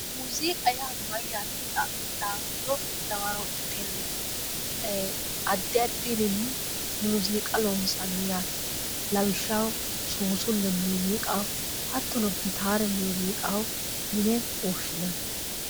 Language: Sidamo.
muziiqa yaa mayyate yite xa'mittoha ikkiro dawaro'ya tenneeti addi addirinni muuziiqa loonsanni yaate lawishshaho suusulle muuziiqaho hattono gitaare muuziiqaho yine woshshinanni.